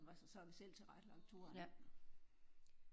Så har vi selv tilrettelagt turen